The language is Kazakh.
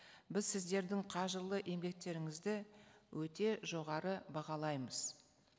біз сіздердің қажырлы еңбектеріңізді өте жоғары бағалаймыз